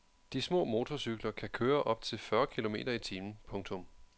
De små motorcykler kan køre op til fyrre kilometer i timen. punktum